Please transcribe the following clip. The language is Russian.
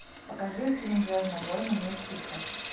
покажи фильм звездные войны месть ситхов